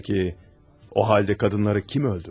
Peki, o halda qadınları kim öldürdü?